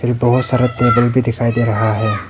यह बहुत सारे टेबल भी दिखाई दे रहा है।